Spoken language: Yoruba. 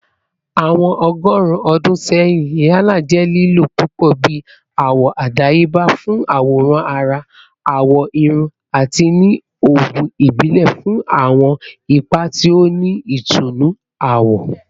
Awọn ọgọrun ọdun sẹyin, henna jẹ lilo pupọ bi awọ adayeba fun aworan ara, awọ irun, ati ni oogun ibile fun awọn ipa ti o ni itunnu awọ.